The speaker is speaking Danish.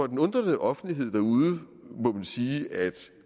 den undrende offentlighed derude må man sige at